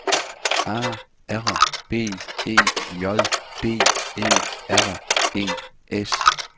A R B E J D E R E S